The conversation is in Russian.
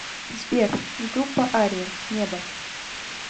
сбер группа ария небо